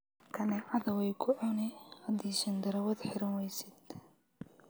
Kanececadha waykucuni hadi shandarawat hiranweysid.